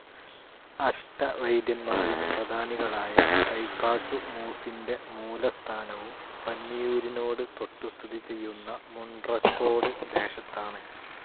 അഷ്ടവൈദ്യൻമാരിൽ പ്രധാനികളായ തൈക്കാട്ടു മൂസിന്റെ മൂലസ്ഥാനവും പന്നിയൂരിനോട് തൊട്ടുസ്ഥിതിചെയ്യുന്ന മുൺട്രക്കോട് ദേശത്താണ്.